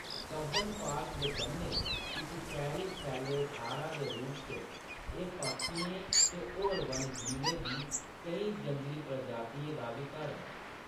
Cubbon park दे कन्नै इक शैह्‌‌‌री सैले थाह्‌‌‌र दे रूप च, एह्‌‌ पक्षियें ते होर वन्यजीवें दी केईं जंगली प्रजातियें दा बी घर ऐ।